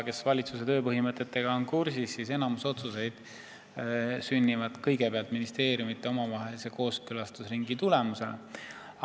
Kes on valitsuse tööpõhimõtetega kursis, see teab, et enamik otsuseid sünnib ministeeriumide omavahelise kooskõlastusringi tulemusena.